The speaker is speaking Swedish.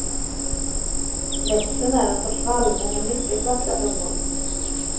Växten är en sorts vallmo med mycket vackra blommor.